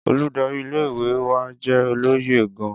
Oludari ìle-ìwe wa jẹ́ olóye gan-an.